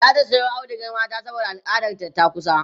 zata Sayo audugar mata saboda al'adar ta takusa